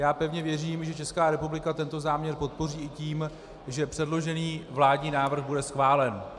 Já pevně věřím, že Česká republika tento záměr podpoří i tím, že předložený vládní návrh bude schválen.